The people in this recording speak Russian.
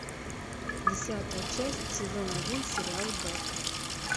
десятая часть сезон один сериал бек